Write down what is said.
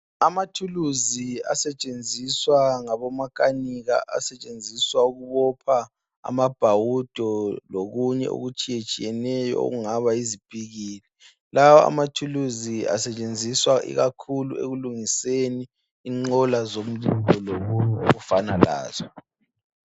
Amathuluzi asetshenziswa ngabo makanika asetshenziswa ukubopha amabhawudo lokunye okutshiyetshiyeneyo okungaba yizipikili. Lawa amathuluzi asetshenziswa ikakhulu ekulungiseni inqola zomlilo lokunye okufana lazo.